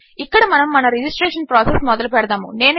ఇక్కడ మనము మన రెజిస్ట్రేషన్ ప్రాసెస్ మొదలుపెడదాము